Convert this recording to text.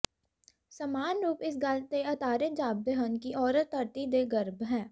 ਸਮਾਨ ਰੂਪ ਇਸ ਗੱਲ ਤੇ ਆਧਾਰਿਤ ਜਾਪਦੇ ਹਨ ਕਿ ਔਰਤ ਧਰਤੀ ਦੇ ਗਰਭ ਹੈ